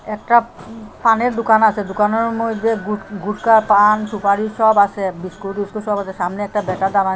একটা পানের দোকান আছে দোকানের মধ্যে গুট গুটকা পান সুপারি সব আসে বিস্কুট টিস্কুট সব আসে সামনে একটা ব্যাটা দাঁড়ান।